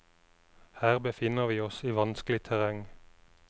Her befinner vi oss i vanskelig terreng.